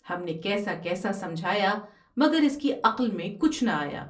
ہم نے کیسا کیسا سمجھا یا مگر اس کی عقل میں کچھ نہ آیا ۔